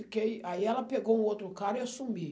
Ôu kêi. Aí ela pegou um outro cara e eu sumi.